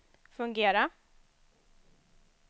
fungera